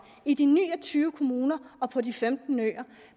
i de ni og tyve kommuner og på de femten øer